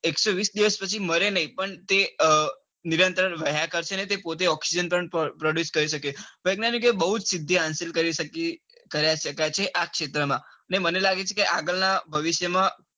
એકસો વીસ દિવસ પછી મારે નાઈ પણ તે અ નિરંતર વહ્યા કરસે અને પોતે oxygen produce કરી શકે. વૈજ્ઞાનિકો ને બૌ જ સીધી હાંસિલ કરી કરી શકાય છે આ ક્ષેત્ર માં ને મને લાગે છે કે આગળ ના ભવિષ્ય માં